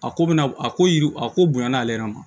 A ko bɛna a ko yiri a ko bonya na ale yɛrɛ ma